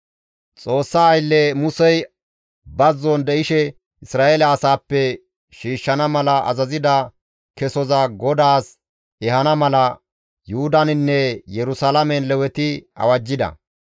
Xoossa aylle Musey bazzon de7ishe Isra7eele asaappe shiishshana mala azazida kesoza GODAAS ehana mala Yuhudaninne Yerusalaamen Leweti awajjida.